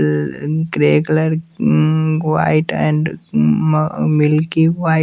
a grey colour um white and um म milky white --